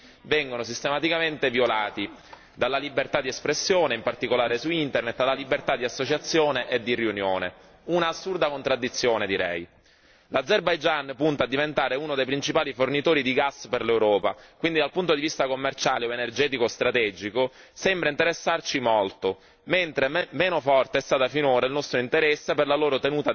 dalla libertà di espressione in particolare su Internet alla libertà di associazione e di riunione, un'assurda contraddizione direi. L'Azerbaigian punta a diventare uno dei principali fornitori di gas per l'Europa, quindi dal punto di vista commerciale o energetico strategico sembra interessarci molto, mentre meno forte è stato finora il nostro interesse per la sua tenuta democratica e per la salvaguardia dei diritti umani.